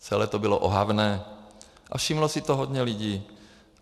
Celé to bylo ohavné a všimlo si toho hodně lidí.